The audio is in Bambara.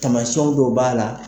Tamasiɲɛn dɔw b'a la